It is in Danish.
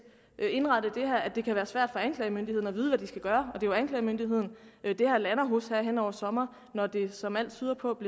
indrettet at det kan være svært for anklagemyndigheden at vide hvad de skal gøre og det er jo anklagemyndigheden det her lander hos hen over sommeren når det som alt tyder på